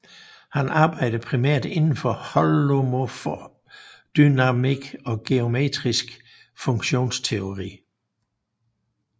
Han arbejdede primært indenfor holomorf dynamikk og geometrisk funktionsteori